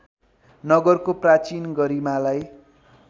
नगरको प्राचीन गरिमालाई